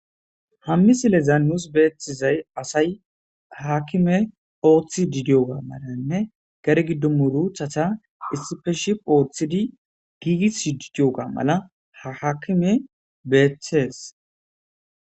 hammi sileza nuus beeththizay asay haakime ooththi didiyoga malanne gare giddomu ruuchatha issife ship ooththidi giigis didiyoga mala ha haakime beeththees